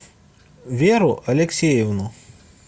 веру алексеевну